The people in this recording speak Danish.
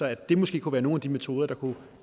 at det måske kunne være nogle af de metoder der kunne